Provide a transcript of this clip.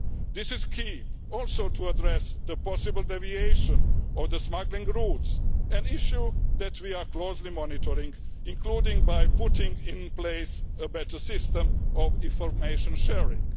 This is key also to addressing the possible deviation of the smuggling routes, an issue that we are closely monitoring, including by putting in place a better system of information sharing.